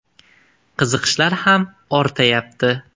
Qiziqishlar ham ortayapti.